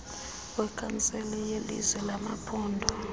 wekhansile yelizwe yamaphondo